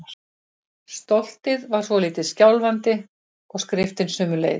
Stoltið var svolítið skjálfandi- og skriftin sömuleiðis.